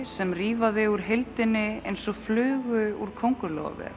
sem rífa þig úr heildinni eins og flugu úr